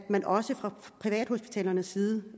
man også fra privathospitalernes side